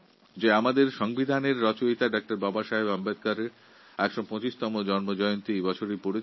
সুখের বিষয় এই বছর সংবিধানের রূপকার ড বাবাসাহেব আম্বেদকরের ১২৫তম জন্মজয়ন্তী